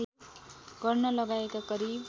गर्न लगाएका करिब